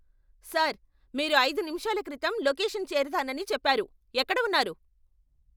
Sir, మీరు ఐదు నిముషాల క్రితం లొకేషన్ చేరతానని చెప్పారు. ఎక్కడ ఉన్నారు?